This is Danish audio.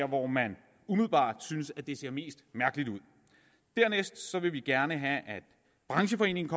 hvor man umiddelbart synes at det ser mest mærkeligt ud dernæst vil vi gerne have at brancheforeningen